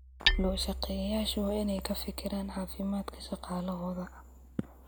Loo-shaqeeyayaashu waa inay ka fikiraan caafimaadka shaqaalahooda.